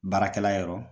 Baarakɛla yɔrɔ